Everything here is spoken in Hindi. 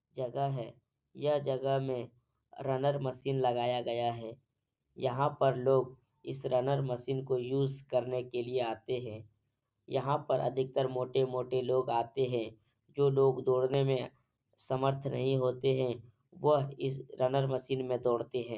जगह है यह जगह मे रनर मशीन लगाया गाया है यहाँ पर लोग इस रनर मशीन को यूज करने के लिए आते है यहाँ पर अधिकतर मोटे-मोटे लोग आते है जो लोग दौड़ने में समर्थ नहीं होते है वह इस रनर मशीन मे दौड़ते है।